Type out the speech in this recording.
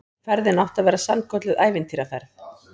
Ferðin átti að verða sannkölluð ævintýraferð